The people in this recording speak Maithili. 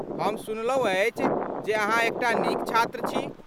हम सुनलहुँ अछि जे अहाँ एकटा नीक छात्र छी।